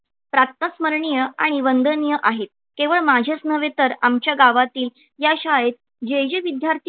तात्काळ स्मरणीय आणि वंदनीय आहेत. केवळ माझेच नव्हे तर आमच्या गावातील या शाळेत जे जे विद्यार्थी